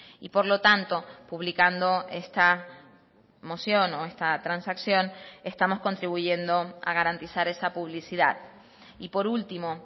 y por lo tanto publicando esta moción o esta transacción estamos contribuyendo a garantizar esa publicidad y por último